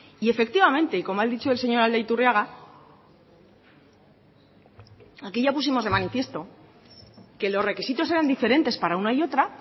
y efectivamente y como ha dicho el señor aldaiturriaga aquí ya pusimos de manifiesto que los requisitos eran diferentes para una y otra